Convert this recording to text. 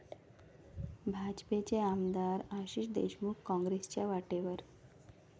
भाजपचे आमदार आशिष देशमुख काँग्रेसच्या वाटेवर?